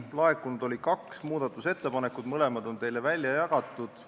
Laekunud oli kaks muudatusettepanekut, mõlemad on teile välja jagatud.